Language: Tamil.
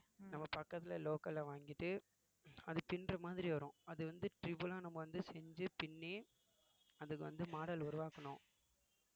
நம்ம பக்கத்துல local அ வாங்கிட்டு அது பின்னற மாதிரி வரும் அது வந்து triple ஆ நம்ம வந்து செஞ்சு பின்னி அதுக்கு வந்து model உருவாக்கணும்